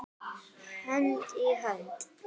Hönd í hönd.